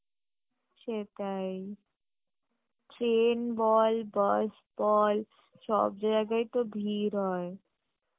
সেটাই train বল bus বল সব জায়গায় তো ভীড় হয়